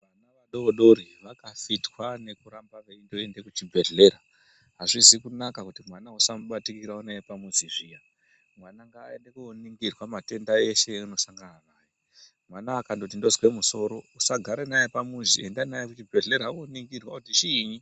Vana vadodori vaka fitwa neku ramba veindo ende ku chibhedhlera azvizi kunaka kuti mwana usamu batikira unaye pa muzi zviya mwana ngaende ko ningirwa matenda eshe aano sangana nawo mwana akangoti ndozwe musoro usa gare naye pamuzi enda naye ku chibhedhlera o ningirwa kuti chiinyi.